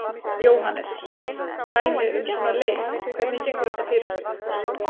Jóhannes: Dæmi um svona leit, hvernig gengur þetta fyrir sig?